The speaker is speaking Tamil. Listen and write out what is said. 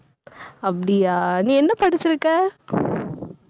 அப்படியா, நீ என்ன படிச்சிருக்க